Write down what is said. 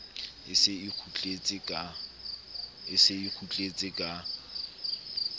e se e kgutletse ka